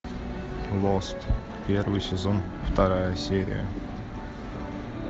лост первый сезон вторая серия